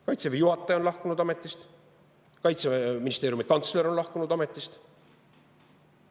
Kaitseväe juhataja on lahkunud ametist, Kaitseministeeriumi kantsler on lahkunud ametist.